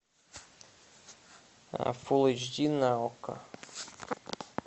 фул эйч ди на окко